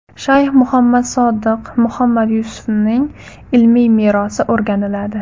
Shayx Muhammad Sodiq Muhammad Yusufning ilmiy merosi o‘rganiladi.